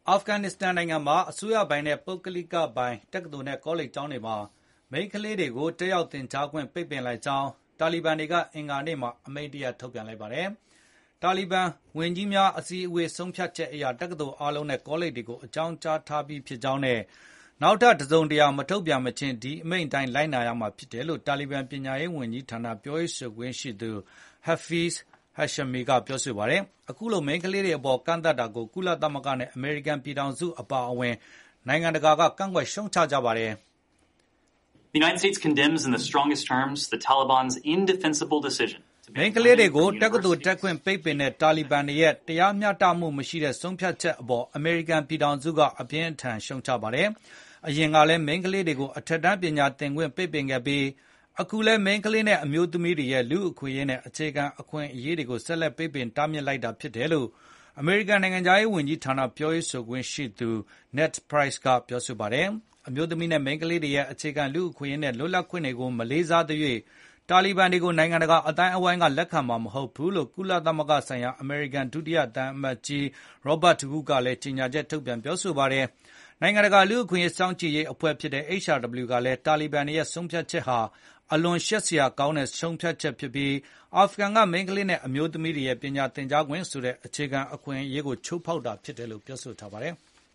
အာဖဂန်နစ္စတန်နိုင်ငံမှာ အစိုးရပိုင်နဲ့ ပုဂ္ဂလိကပိုင် တက္ကသိုလ် ကောလိပ်ကျောင်းတွေမှာ မိန်းကလေးတွေကို တက်ရောက် ပညာသင်ကြားခွင့် ပိတ်ပင်လိုက်ကြောင်း တာလီဘန်တွေက အင်္ဂါနေ့မှာ အမိန့်ထုတ်ပြန် လိုက်ပါတယ်။ တာလီဘန်ဝန်ကြီးများ အစည်းအဝေးဆုံးဖြတ်ချက်အရ တက္ကသိုလ်အားလုံးနဲ့ ကောလိပ်တွေကို အကြောင်းကြားထားပြီးဖြစ်ကြောင်းနဲ့ နောက်ထပ် တစုံတရာ မထုတ်ပြန်မချင်း ဒီအမိန့်အတိုင်း လိုက်နာရမှာဖြစ်တယ်လို့ တာလီဘန် ပညာရေးဝန်ကြီးဌာန ပြောရေးဆိုခွင့်ရှိသူ Hafiz Zia Hashami ကပြေပါတယ်။ အခုလို မိန်းကလေးတွေအပေါ် ကန့်သတ် ပိတ်ပင်တာကို ကုလသမဂ္ဂနဲ့ အမေရိကန်ပြည်ထောင်စု အပါအဝင် နိုင်ငံတကာက ကန့်ကွက် ရှုတ်ချလိုက်ပါတယ်။ “ မိန်းကလေးတွေကို တက္ကသိုလ်တက်ခွင့် ပိတ်ပင်တဲ့ တာလီဘန်တွေရဲ့တရားမျှတမှု မရှိတဲ့ ဆုံးဖြတ်ချက်အပေါ် အမေရိကန်ပြည်ထောင်စုက အပြင်းထန်ဆုံး ရှုတ်ချပါတယ်။ အရင်ကလည်း မိန်းကလေးတွေကို အထက်တန်းပညာသင်ခွင့် ပိတ်ပင်ခဲ့ပြီး အခုလည်း မိန်းကလေးနဲ့အမျိုးသမီးတွေရဲ့ လူ့အခွင့်အရေးနဲ့ အခြေခံအခွင့်အရေးတွေကို ဆက်လက် ပိတ်ပင်တားမြစ်လိုက်တာ ဖြစ်တယ်”လို့ အမေရိကန်နိုင်ငံခြားရေး ဝန်ကြီးဌာန ပြောရေးဆိုခွင့်ရှိသူ Ned Price ကပြောပါတယ်။ အမျိုးသမီးနဲ့ မိန်းကလေးတွေရဲ့ အခြေခံ လူ့အခွင့်အရေးနဲ့ လွတ်လပ်ခွင့်တွေကို မလေးစားသရွေ့ တာလီဘန်တွေကို နိုင်ငံတကာအသိုင်းအဝိုင်းက လက်ခံမှာ မဟုတ်ဘူးလို့ ကုလသမဂ္ဂဆိုင်ရာ အမေရိကန် ဒုတိယသံအမတ်ကြီး Robert Wood ကလည်း ကြေငြာချက် ထုတ်ပြန် ပြောဆိုပါတယ်။ နိုင်ငံတကာလူ့အခွင့်အရေး စောင့်ကြည့်ရေးအဖွဲ့ဖြစ်တဲ့ HRW ကလည်း၊ တာလီဘန်တွေရဲ့ ဆုံးဖြတ်ချက်ဟာ အလွန်ရှက်စရာကောင်းတဲ့ ဆုံးဖြတ်ချက်ဖြစ်ပြီး၊ အာဖဂန်က မိန်းကလေးနဲ့ အမျိုးသမီးတွေရဲ့ပညာသင်ကြားခွင့်ဆိုတဲ့ အခြေခံအခွင့်အရေးကို ချိုးဖေါက်တာဖြစ်တယ်လို့ပြောဆိုပါတယ်။